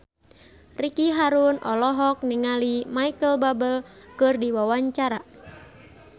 Ricky Harun olohok ningali Micheal Bubble keur diwawancara